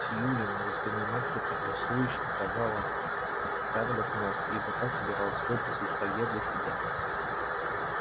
сьюлин за спиной матери торжествующе показала скарлетт нос ибо та собиралась выпросить колье для себя